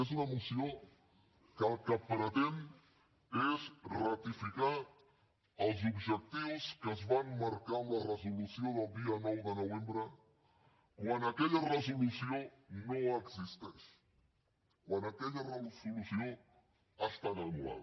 és una moció que el que pretén és ratificar els objectius que es van marcar en la resolució del dia nou de novembre quan aquella resolució no existeix quan aquella resolució ha estat anul·lada